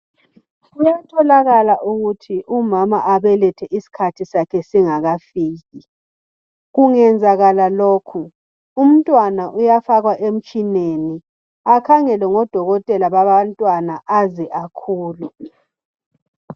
Kuyatholakala ukuthi umama abelethe iskhathi sakhe singafiki kungenzakala lokhu umntwana uyafakwa emtshineni akhengelwe ngudokotela wabantwana aze akhule